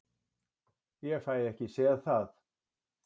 Ég fæ ekki séð það.